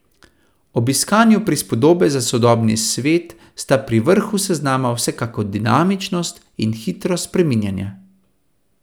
Ob iskanju prispodobe za sodobni svet sta pri vrhu seznama vsekakor dinamičnost in hitro spreminjanje.